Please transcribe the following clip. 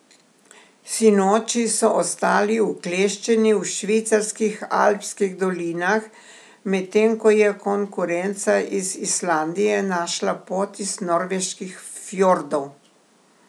Sinoči so ostali ukleščeni v švicarskih alpskih dolinah, medtem ko je konkurenca iz Islandije našla pot iz norveških fjordov.